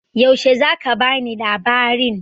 Yaushe za ka bani labarin?